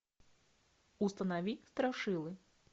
установи страшилы